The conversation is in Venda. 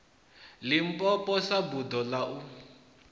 limpopo sa buḓo ḽa u